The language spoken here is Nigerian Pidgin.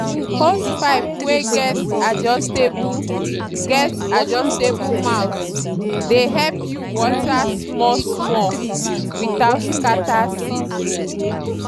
hosepipe wey get adjustable get adjustable mouth dey help you water small-small without scatter seedling.